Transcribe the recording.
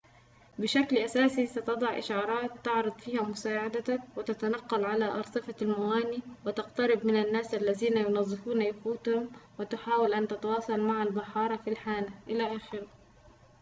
بشكل أساسي ستضع إشعارات تعرض فيها مساعدتك وتتنقّل على أرصفة الموانئ وتقترب من الناس الذين يُنظفون يخوتهم وتحاول أن تتواصل مع البحارة في الحانة إلخ